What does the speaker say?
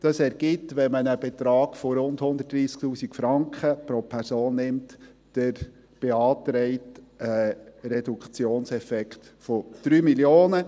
Dies ergibt, wenn man einen Betrag von rund 130 000 Franken pro Stelle annimmt, die beantragte Reduktion um 3 Mio. Franken.